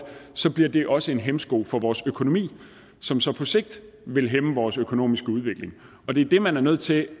så bliver det også en hæmsko for vores økonomi som så på sigt vil hæmme vores økonomiske udvikling og det er det man er nødt til